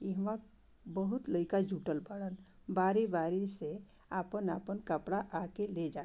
इह वक बहुत लइका जूटल वारण बारी-बारी से आपन-आपन कपड़ा आके ले जाइ।